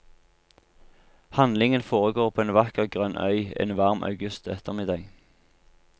Handlingen foregår på en vakker grønn øy en varm august ettermiddag.